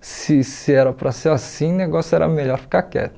se se era para ser assim, o negócio era melhor ficar quieto.